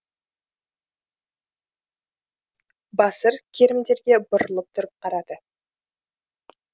басыр керімдерге бұрылып тұрып қарады